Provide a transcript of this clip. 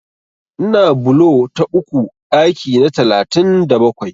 Ina bulo ta uku ɗaki na talatin da bakwai.